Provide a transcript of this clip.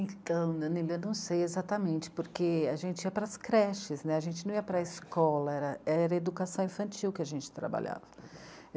Então, eu ainda não sei exatamente, porque a gente ia para as creches né, a gente não ia para a escola, era, era educação infantil que a gente trabalhava.